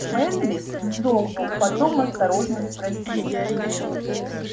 мэнлис вздрогнул потом осторожно спросил